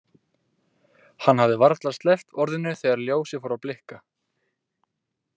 Hann hafði varla sleppt orðinu þegar ljósið fór að blikka.